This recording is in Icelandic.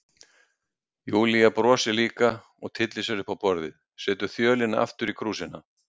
Júlía brosir líka og tyllir sér upp á borðið, setur þjölina aftur í krúsina.